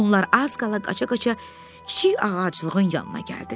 Onlar az qala qaça-qaça kiçik ağaclığın yanına gəldilər.